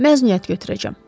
Məzuniyyət götürəcəm.